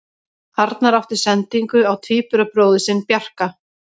Arnar átti sendingu á tvíburabróðir sinn Bjarka.